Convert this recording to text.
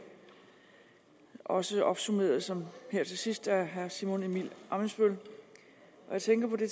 også opsummeret her til sidst af herre simon emil ammitzbøll og jeg tænker på det